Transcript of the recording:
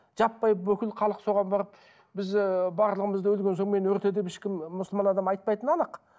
жаппай бүкіл халық соған барып біз ыыы барлығымызды өлген соң мені өрте деп ешкім ы мұсылман адам айтпайтыны анық